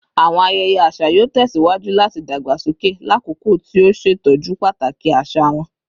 Awọn ayẹyẹ aṣa yoo tẹsiwaju lati dagbasoke lakoko ti o ṣetọju pataki aṣa wọn